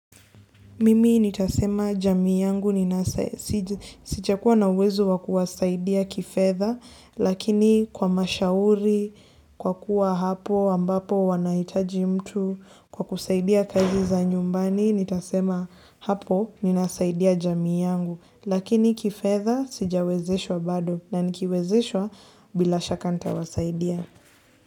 Mimi nitasema jamii yangu ni nasa sijakua na uwezo wa kuwasaidia kifedha lakini kwa mashauri, kwa kuwa hapo ambapo wanaitaji mtu, kwa kusaidia kazi za nyumbani nitasema hapo ninasaidia jamii yangu, lakini kifedha sijawezeshwa bado na nikiwezeshwa bila shaka ntawasaidia.